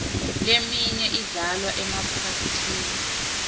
leminye idlalwa emaphathini